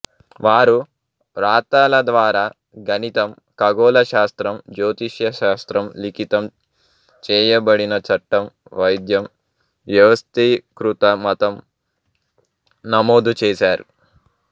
వారు వ్రాతలద్వారా గణితం ఖగోళరశాస్త్రం జ్యోతిషశాస్త్రం లిఖితం చేయబడిన చట్టం వైద్యం వ్యవస్థీకృత మతం నమోదుచేసారు